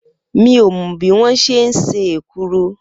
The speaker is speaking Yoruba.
Mi ò mo̩ bí wón s̩e ń se èkuru